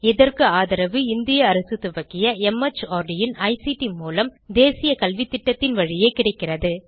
இதற்கு ஆதரவு இந்திய அரசு துவக்கிய மார்ட் இன் ஐசிடி மூலம் தேசிய கல்வித்திட்டத்தின் வழியே கிடைக்கிறது